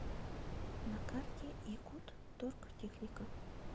на карте якутторгтехника